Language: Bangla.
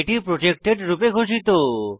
এটি প্রটেক্টেড রূপে ঘোষিত